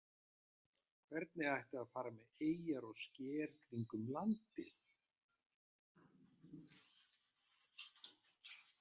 Hvernig ætti að fara með eyjar og sker kringum landið?